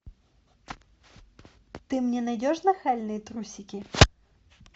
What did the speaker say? ты мне найдешь нахальные трусики